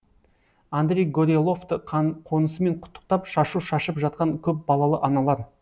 андрей гореловты қонысымен құттықтап шашу шашып жатқан көп балалы аналар